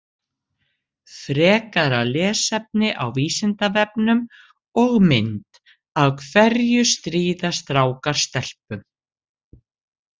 Frekara lesefni á Vísindavefnum og mynd Af hverju stríða strákar stelpum?